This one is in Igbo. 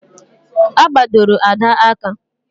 A gbadoro Ada aka